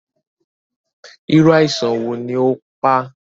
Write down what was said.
Irú àìsàn wo ni ó pá?